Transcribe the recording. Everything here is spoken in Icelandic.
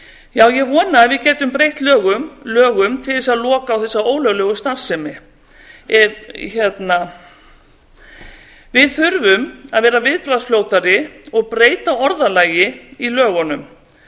já ég vona að við getum breytt lögum til þess að loka á þessa ólöglegu starfsemi við þurfum að vera viðbraðgsfljótari og breyta orðalagi í lögunum